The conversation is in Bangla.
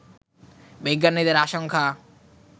বিজ্ঞানীদের আশঙ্কা